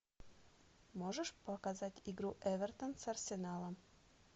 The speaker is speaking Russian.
можешь показать игру эвертон с арсеналом